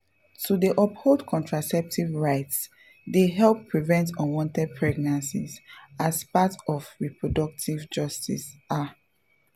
to dey uphold contraceptive rights dey help prevent unwanted pregnancies as part of reproductive justice ah.